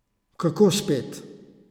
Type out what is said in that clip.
Kako spet?